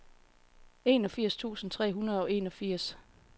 enogfirs tusind tre hundrede og enogfirs